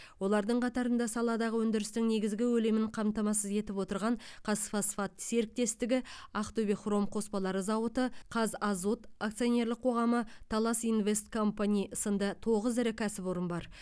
олардың қатарында саладағы өндірістің негізгі көлемін қамтамасыз етіп отырған қазфосфат серіктестігі ақтөбе хром қоспалары зауыты қазазот акционерлік қоғамы талас инвест компани сынды тоғыз ірі кәсіпорын бар